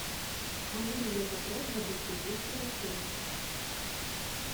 могу ли я забрать забытые вещи в отеле